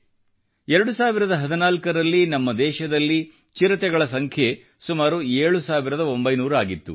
2014 ರಲ್ಲಿ ನಮ್ಮ ದೇಶದಲ್ಲಿ ಚಿರತೆಗಳ ಸಂಖ್ಯೆ ಸುಮಾರು 7900 ಆಗಿತ್ತು